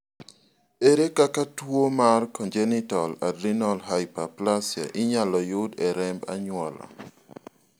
ere kaka tuo mar congenital adrenal hyperplasia inyalo yud e remb anyuola?